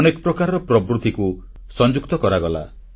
ଅନେକ ପ୍ରକାରର ପ୍ରବୃତ୍ତିକୁ ସଂଯୁକ୍ତ କରାଗଲା